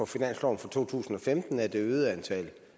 finansloven for to tusind og femten er det øgede antal